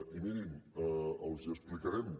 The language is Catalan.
i mirin els ho explicarem